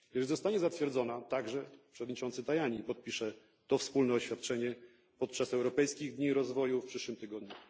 Gdy już zostanie zatwierdzona, również przewodniczący Tajani podpisze to wspólne oświadczenie podczas Europejskich Dni Rozwoju w przyszłym tygodniu.